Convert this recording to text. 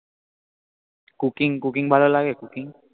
cooking cooking ভালো লাগে? cooking